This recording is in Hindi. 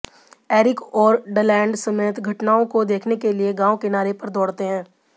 एरिक और डलैंड समेत घटनाओं को देखने के लिए गांव किनारे पर दौड़ते हैं